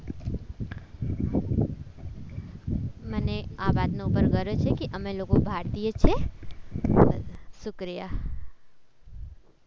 મને આ વાતનું પણ ગર્વ છે કે અમે લોકો ભારતીય છીએ બસ શુક્રિયા.